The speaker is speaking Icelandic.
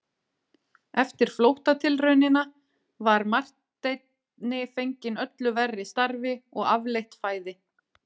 Eftir flóttatilraunina var Marteini fenginn öllu verri starfi og afleitt fæði.